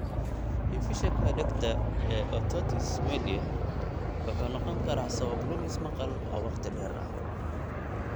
Infekshanka dhegta ee otitis media wuxuu noqon karaa sabab lumis maqal oo wakhti dheer ah.